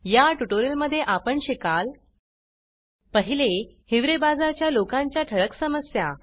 या ट्युटोरियलमध्ये आपण शिकाल 1हिवरे बाजार च्या लोकांच्या ठळक समस्या